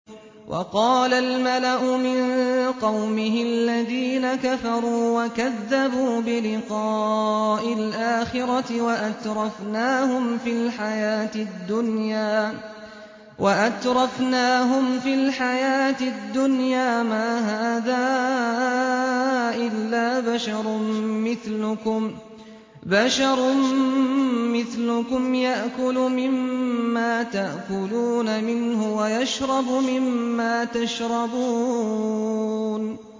وَقَالَ الْمَلَأُ مِن قَوْمِهِ الَّذِينَ كَفَرُوا وَكَذَّبُوا بِلِقَاءِ الْآخِرَةِ وَأَتْرَفْنَاهُمْ فِي الْحَيَاةِ الدُّنْيَا مَا هَٰذَا إِلَّا بَشَرٌ مِّثْلُكُمْ يَأْكُلُ مِمَّا تَأْكُلُونَ مِنْهُ وَيَشْرَبُ مِمَّا تَشْرَبُونَ